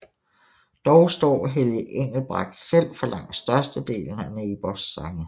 Dog står Helge Engelbrecht selv for langt størstedelen af Neighbours sange